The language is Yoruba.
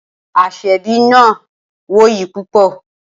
Aseebi náà wuyì púpọ̀.